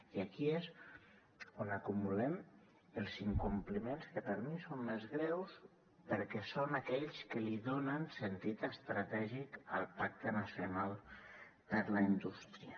i aquí és on acumulem els incompliments que per mi són més greus perquè són aquells que li donen sentit estratègic al pacte nacional per a la indústria